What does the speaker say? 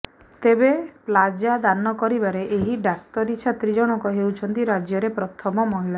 ତେବେ ପ୍ଲାଜ୍ମା ଦାନ କରିବାରେ ଏହି ଡାକ୍ତରୀ ଛାତ୍ରୀ ଜଣକ ହେଉଛନ୍ତି ରାଜ୍ୟରେ ପ୍ରଥମ ମହିଳା